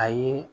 Ayi